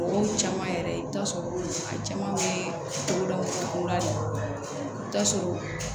O caman yɛrɛ i bɛ taa sɔrɔ a caman bɛ togodaw la i bɛ taa sɔrɔ